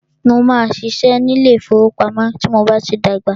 Mó máà ṣiṣẹ́ ní ilé ìfọwọ́pamo tí mo bá tí dàgbà.